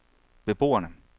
beboerne